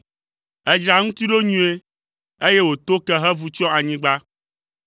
Èdzra eŋuti ɖo nyuie, eye wòto ke hevu tsyɔ anyigba.